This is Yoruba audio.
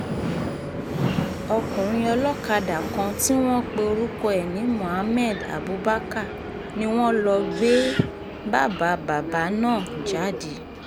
um ọkùnrin olókàdá kan tí wọ́n pe orúkọ ẹ̀ ní mohammed abubakar ni wọ́n lọ gbé um bàbá um bàbá náà jáde